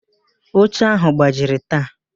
Oche áhụ̀ gbajiri taa.